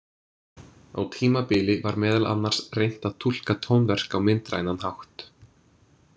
Á tímabili var meðal annars reynt að túlka tónverk á myndrænan hátt.